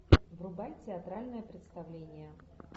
врубай театральное представление